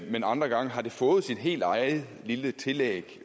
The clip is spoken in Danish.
men andre gange har det fået sit helt eget lille tillæg